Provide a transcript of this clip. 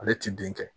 Ale ti den kɛ